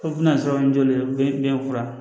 Ko bɛna sɔrɔ n jɔlen do biyɛn fura